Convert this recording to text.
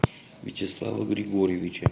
вячеслава григорьевича